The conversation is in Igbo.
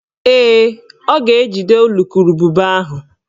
Ee, ọ ga-ejide ulukurububa ahụ